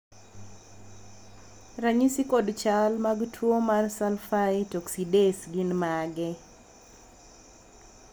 ranyisi kod chal mag tuo mar Sulfite oxidase gin mage?